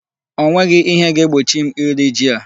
O nweghị ihe ga-egbochi m iri ji a.